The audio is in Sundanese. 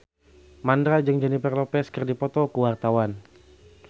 Mandra jeung Jennifer Lopez keur dipoto ku wartawan